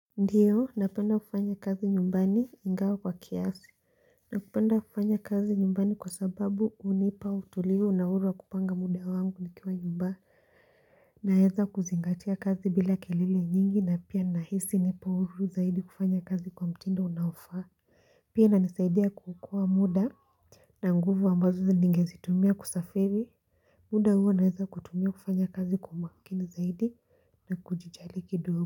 Ndiyo napenda kufanya kazi nyumbani ingawa kwa kiasi Napenda kufanya kazi nyumbani kwa sababu hunipa utulivu na uhuru wa kupanga muda wangu nikiwa nyumbani Naweza kuzingatia kazi bila kelele nyingi na pia nahisi nipo huru zaidi kufanya kazi kwa mtindo unaofaa Pia inanisaidia kuokoa muda na nguvu ambazo ningezitumia kusafiri muda huo naweza kutumia kufanya kazi kwa makini zaidi na kujijali kidogo.